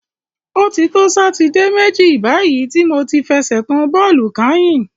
O ti to Sátidé méjì báyìí tí mo ti fẹsẹ̀ kan bọ́ọ̀lù kányìn.